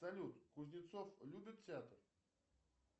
салют кузнецов любит театр